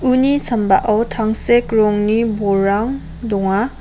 uni sambao tangsek rongni bolrang donga.